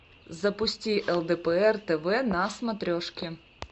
запусти лдпр тв на смотрешке